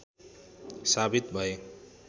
साबित भए